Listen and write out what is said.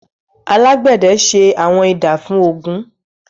alagbẹdẹ se Awọn Idà fun ogun.